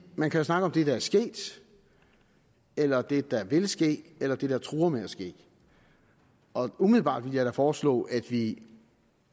man kan snakke om det der er sket eller det der vil ske eller det der truer med at ske umiddelbart vil jeg foreslå at vi